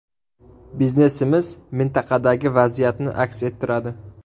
Biznesimiz mintaqadagi vaziyatni aks ettiradi.